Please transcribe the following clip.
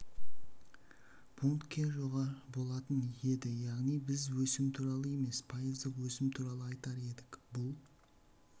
пунктке жоғары болатын еді яғни біз өсім туралы емес пайыздық өсім туралы айтар едік бұл